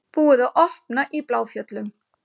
Búið að opna í Bláfjöllum